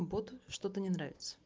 боту что-то не нравится